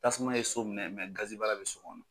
Tasuma ye so minɛ bɛ so kɔnɔ.